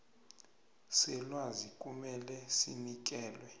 selwazi kumele sinikele